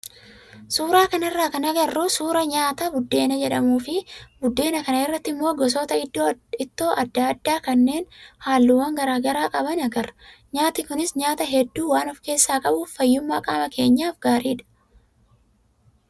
Suuraa kanarraa kan agarru suuraa nyaata buddeena jedhamuu fi buddeena kana irratti immoo gosoota ittoo adda addaa kanneen halluuwwan garaagaraa qaban agarra. Nyaati kunis nyaata hedduu waan of keessaa qabuuf fayyummaa qaama keenyaaf gaariidha.